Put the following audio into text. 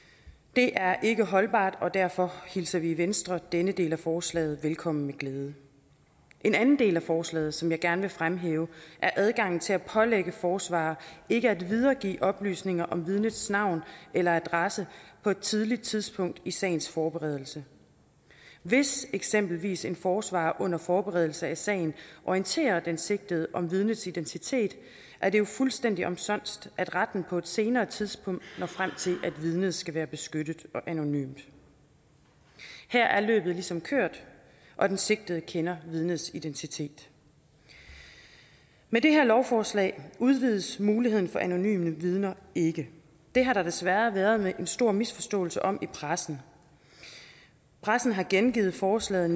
det er ikke holdbart og derfor hilser vi i venstre denne del af forslaget velkommen med glæde en anden del af forslaget som jeg gerne vil fremhæve er adgang til at pålægge forsvarere ikke at videregive oplysninger om vidnets navn eller adresse på et tidligt tidspunkt i sagens forberedelse hvis eksempelvis en forsvarer under forberedelse af sagen orienterer den sigtede om vidnets identitet er det jo fuldstændig omsonst at retten på et senere tidspunkt når frem til at vidnet skal være beskyttet og anonymt her er løbet ligesom kørt og den sigtede kender vidnets identitet med det her lovforslag udvides muligheden for anonyme vidner ikke det har der desværre været en stor misforståelse om i pressen pressen har gengivet forslaget